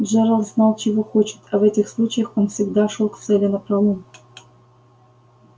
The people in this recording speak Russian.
джералд знал чего хочет а в этих случаях он всегда шёл к цели напролом